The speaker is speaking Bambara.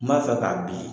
N b'a fɛ k'a bin